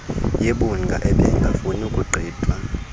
yebhunga ebengafuni kugqithwa